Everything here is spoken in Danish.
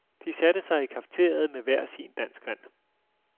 De satte sig i cafeteriet med hver sin danskvand.